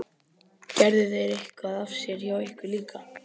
Gerðu þeir eitthvað af sér hjá ykkur líka?